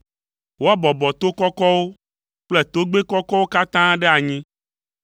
Woabɔbɔ to kɔkɔwo kple tɔgbɛ kɔkɔwo katã ɖe anyi;